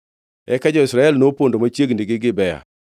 Eka jo-Israel nopondo machiegni gi Gibea.